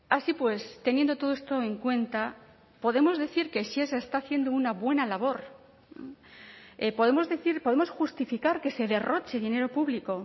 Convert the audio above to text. así pues teniendo todo esto en cuenta podemos decir que sí se está haciendo una buena labor podemos decir podemos justificar que se derroche dinero público